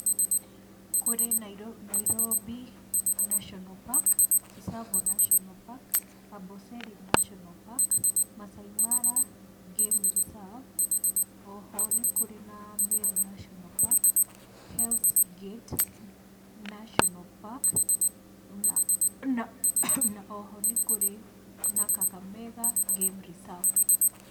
Kũrĩ Nairobi National Park, Tsavo National Park, Amboseli Nationa Park, Maasai Mara Game Reserve, oho nĩ kũrĩ na Meru National Park, Hells Gate National Park na oho nĩ kũrĩ na Kakamega Game Reserve.